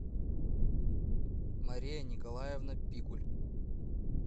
мария николаевна пикуль